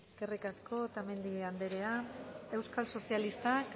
eskerrik asko otamendi anderea euskal sozialistak